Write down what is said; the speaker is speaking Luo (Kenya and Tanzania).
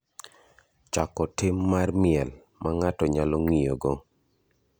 chako tim mar miel ma ng’ato nyalo ng’iyogo